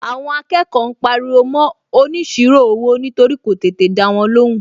Àwọn akẹ́kọ̀ọ́ ń pariwo mọ́ óniṣirò owó nítorí kò tètè dáwọn lóhùn.